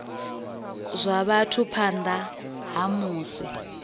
zwa vhathu phanḓa ha musi